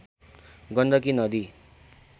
गण्डकी नदी